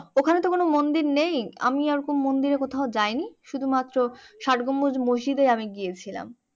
ওখানে তো কোনো মন্দির নেই আমি ওরকম মন্দিরে কোথাও যাইনি শুধু মাত্র ষাট গম্বুজ মসজিদে আমি গিয়েছিলাম।